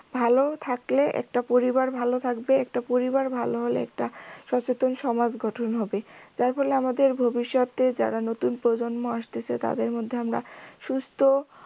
ভালো থাকলে একটা পরিবার ভালো থাকবে একটা পরিবার ভালো হলে একটা সচেতন সমাজ গঠন হবে যার ফলে আমাদের ভবিষ্যতে যারা নতুন প্রজন্ম আসতেসে তাদের মধ্যে আমরা সুস্থ